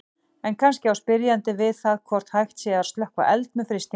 En kannski á spyrjandi við það hvort hægt sé að slökkva eld með frystingu.